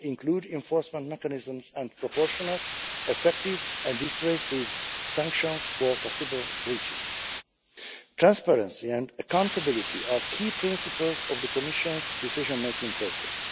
They include enforcement mechanisms and proportionate, effective and dissuasive sanctions for possible breaches. Transparency and accountability are key principles of the Commission's decision-making process.